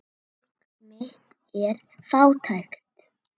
Fólk mitt er fátækt.